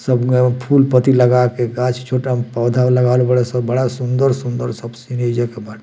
सब ग फूल पत्ती लगा के गाछ छोटा पौधा लगावल बाड़े सन बड़ा सूंदर-सूंदर सब सीढ़ी जे के बा।